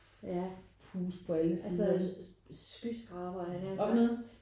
Ja altså skyskrabere havde jeg nær sagt